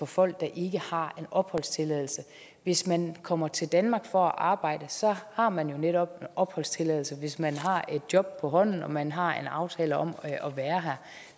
folk der ikke har en opholdstilladelse hvis man kommer til danmark for at arbejde har man jo netop opholdstilladelse hvis man har et job på hånden og man har en aftale om at være her